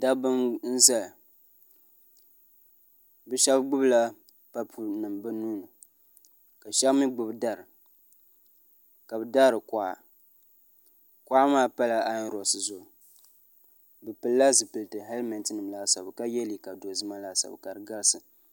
dabba n ʒɛya bi shab gbubila papu nim bi nuuni ka shab mii gbubi dari ka bi daari kuɣa kuɣa maa pala ayon roks zuɣu bi pilila zipiliti hɛlmɛnti nim laasabu ka yɛ liiga dozima laasabu ka di garisi